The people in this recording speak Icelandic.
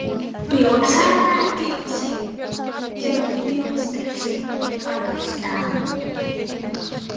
Kristín Eva hvíslaði hann.